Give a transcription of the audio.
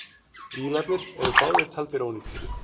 Bílarnir eru báðir taldir ónýtir.